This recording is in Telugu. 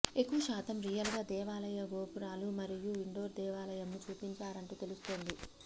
ఎక్కువ శాతం రియల్ గా దేవాలయ గోపురాలు మరియు ఇండోర్ దేవాలయంను చూపించారంటూ తెలుస్తోంది